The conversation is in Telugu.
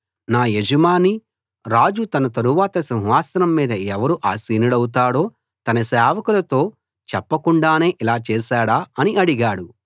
నా యజమాని రాజు తన తరువాత సింహాసనం మీద ఎవరు ఆసీనుడౌతాడో తన సేవకులతో చెప్పకుండానే ఇలా చేసాడా అని అడిగాడు